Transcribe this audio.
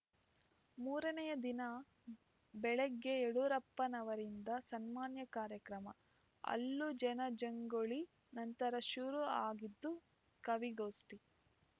ಮೂರನೆಯ ದಿನ ಬೆಳಗ್ಗೆ ಯಡಿಯೂರಪ್ಪನವರಿಂದ ಸನ್ಮಾನ್ಯ ಕಾರ್ಯಕ್ರಮ ಅಲ್ಲೂ ಜನಜಂಗುಳಿ ನಂತರ ಶುರು ಆಗಿದ್ದು ಕವಿಗೋಷ್ಠಿ